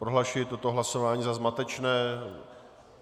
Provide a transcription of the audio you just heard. Prohlašuji toto hlasování za zmatečné.